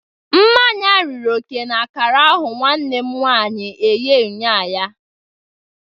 Mmanya riri oke na akara ahu nwannem nwanyi eghe unyanya.